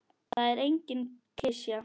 Það er engin klisja.